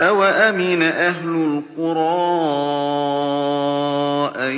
أَوَأَمِنَ أَهْلُ الْقُرَىٰ أَن